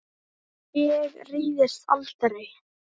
Ég reiðist aldrei.